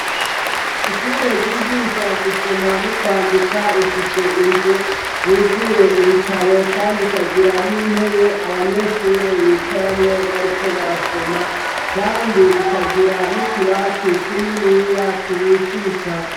Ishure ryigisha gusoma no kwandika rifise inzu yuzuye ibitabo kandi ikagira n'intebe abanyeshure bicaramwo bariko barasoma, kandi ikagira n' utubati tuniniya tubitse bitabo.